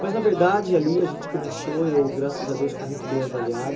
Mas, na verdade, ali a gente começou, eu, graças a Deus, fui muito bem avaliado.